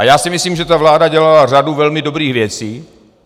A já si myslím, že ta vláda dělala řadu velmi dobrých věcí.